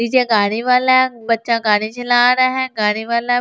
नीचे गाड़ी वाला बच्चा गाड़ी चला रहा है गाड़ी वाला--